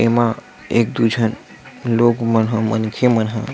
ए मा एक-दू झन लोग मन ह मनखे मन ह--